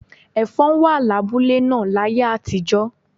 Ẹ̀fọ̀n wà lábúlé náà láyé àtijọ́.